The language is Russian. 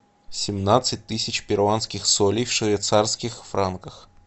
семнадцать тысяч перуанских солей в швейцарских франках